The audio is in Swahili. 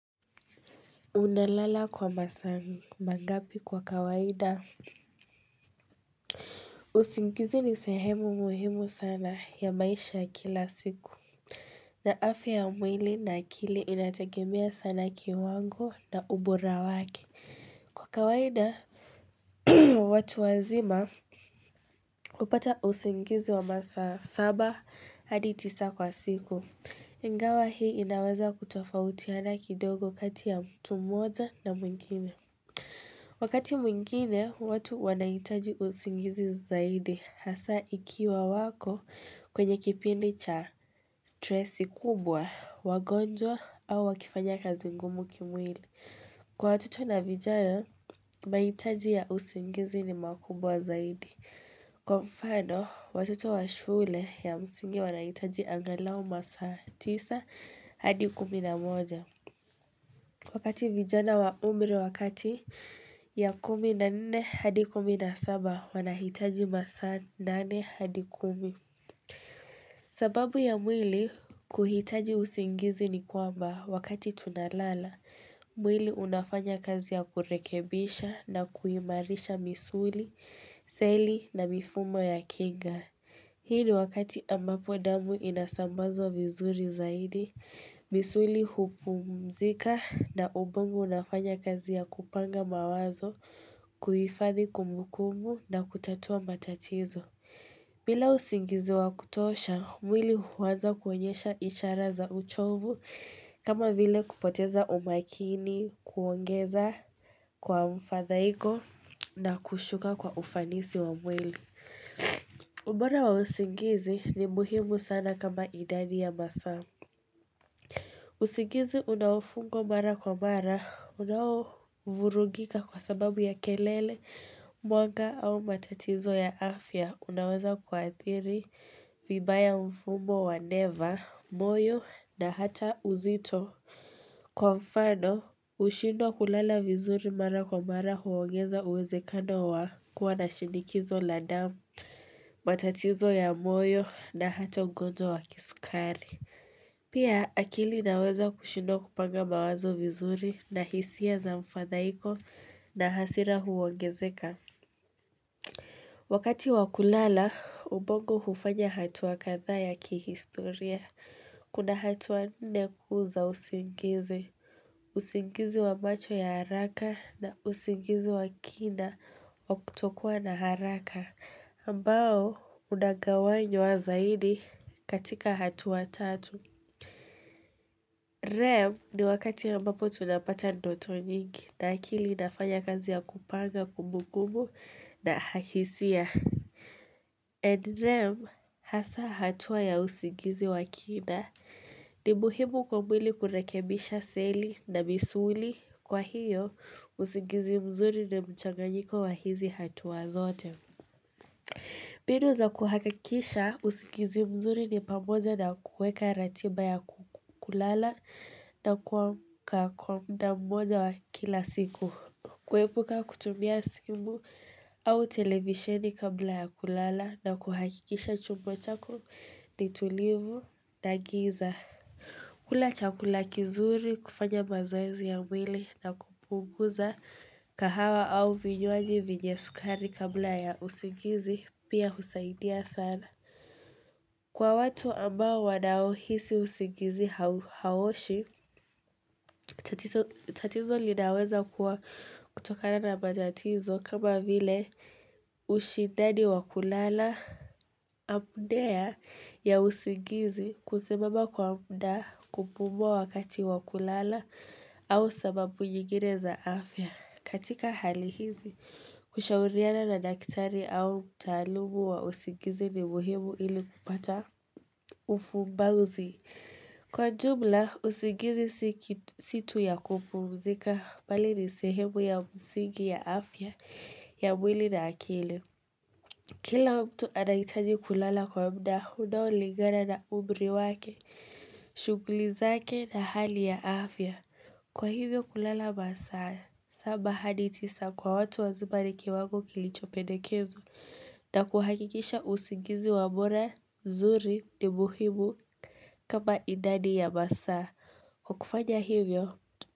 Unalala kwa masaa mangapi kwa kawaida? Usingizi ni sehemu muhimu sana ya maisha ya kila siku. Na afya ya mwili na akili inategemea sana kiwango na ubora wake. Kwa kawaida, watu wazima hupata usingizi wa masaa saba hadi tisa kwa siku. Ingawa hii inaweza kutofautiana kidogo kati ya mtu mmoja na mwingine. Wakati mwingine, watu wanahitaji usingizi zaidi hasaa ikiwa wako kwenye kipindi cha stresi kubwa, wagonjwa au wakifanya kazi ngumu kimwili. Kwa watoto na vijana, mahitaji ya usingizi ni makubwa zaidi. Kwa mfano, watoto wa shule ya msingi wanahitaji angalau masaa tisa hadi kumi na moja. Wakati vijana wa umri wa kati ya kumi na nne hadi kumi na saba wanahitaji masaa nane hadi kumi. Sababu ya mwili kuhitaji usingizi ni kwamba wakati tunalala. Mwili unafanya kazi ya kurekebisha na kuimarisha misuli, seli na mifumo ya kinga. Hii ni wakati ambapo damu inasambazwa vizuri zaidi, misuli hupumzika na ubongo unafanya kazi ya kupanga mawazo, kuhifadhi kumbukumbu na kutatua matatizo. Bila usingizi wa kutosha, mwili huanza kuonyesha ishara za uchovu kama vile kupoteza umakini, kuongeza kwa mfadhaiko na kushuka kwa ufanisi wa mwili. Ubora wa usingizi ni muhimu sana kama idadi ya masaa usingizi unaofungwa mara kwa mara unaovurugika kwa sababu ya kelele mwanga au matatizo ya afya unaweza kuathiri vibaya mfumo wa neva, moyo na hata uzito Kwa mfano kushindwa kulala vizuri mara kwa mara huogeza uwezekano wa kuwa na shinikizo la damu matatizo ya moyo na hata ugonjwa wa kisukari Pia akili inaweza kushindwa kupanga mawazo vizuri na hisia za mfadhaiko na hasira huongezeka Wakati wa kulala ubongo hufanya hatua kadhaa ya kihistoria kuna hatua nne kuu za usingizi usingizi wa macho ya haraka na usingizi wa kina wa kutokuwa na haraka mbao unagawanywa zaidi katika hatua tatu Rem ni wakati ambapo tunapata ndoto nyingi na akili inafanya kazi ya kupanga kumbukumbu na ha hisia and Rem hasaa hatua ya usingizi wa kina ni muhimu kwa mwili kurekebisha seli na misuli. Kwa hiyo, usingizi mzuri ni mchanganyiko wa hizi hatua zote. Mbinu za kuhakakisha usingizi mzuri ni pamoja na kuweka ratiba ya kulala na kuamka kwa muda mmoja wa kila siku. Kuepuka kutumia simu au televisieni kabla ya kulala na kuhakikisha chumba chako ni tulivu na giza. Kula chakula kizuri kufanya mazoezi ya mwili na kupunguza kahawa au vinywaji vyenye sukari kabla ya usingizi pia husaidia sana. Kwa watu ambao wanaohisi usingizi hau haoshi, tatizo linaweza kuwa kutokana na matatizo kama vile ushindani wa kulala amdea ya usingizi kusemama kwa muda kupumua wakati wa kulala. Au sababu nyingine za afya. Katika hali hizi, kushauriana na daktari au mtaalumu wa usigizi ni muhimu ili kupata ufumbauzi. Kwa jumla, usigizi si tu ya kupumzika bali ni sehemu ya msingi ya afya ya mwili na akili. Kila mtu anahitaji kulala kwa muda unaolingana na umri wake shughuli zake na hali ya afya. Kwa hivyo kulala masaa, saba hadi tisa kwa watu waziba ni kiwango kilichopendekezwa na kuhakikisha usingizi wa bora, zuri, ni muhimu kama idadi ya masaa. Kwa kufanya hivyo.